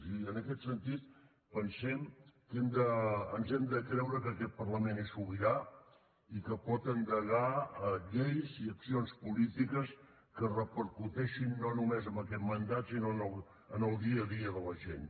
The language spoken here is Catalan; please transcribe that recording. i en aquest sentit pensem que ens hem de creure que aquest parlament és sobirà i que pot endegar lleis i accions polítiques que repercuteixin no només en aquest mandat sinó en el dia a dia de la gent